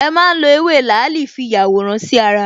E má n lo Ewé làálì fi yàwòrán sí ara